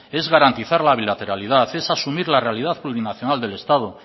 es garantizar la bilateralidad es asumir la realidad plurinacional del estado